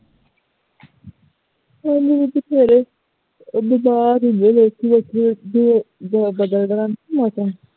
ਉਦੋਂ ਵੀ ਬਥੇਰੇ ਬਿਮਾਰ ਹੁੰਦੇ ਲੋਕੀਂ ਵੇਖੋ ਵੇਖੀ ਜਦੋਂ ਬਦਲਦਾ ਰਹਿੰਦਾ ਹੈ ਨਾ ਮੌਸਮ